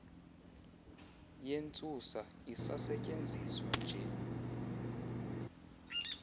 yentsusa isasetyenziswa nje